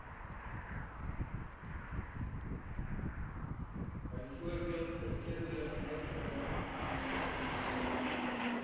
byvoorbeeld verkeerdelik uitgereik